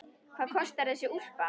Hvað kostar þessi úlpa?